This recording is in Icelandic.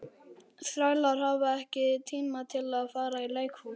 Þrælar hafa ekki tíma til að fara í leikhús.